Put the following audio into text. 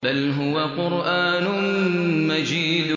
بَلْ هُوَ قُرْآنٌ مَّجِيدٌ